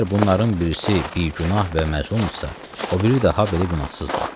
Və əgər bunların birisi bigünah və məzlumdursa, o biri də habelə günahsızdır.